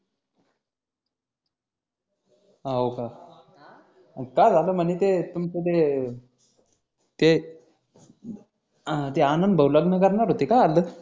होका काय झाल म्हणे ते तुमच ते ते ते आनंद भाऊ लग्न करणार होते आजच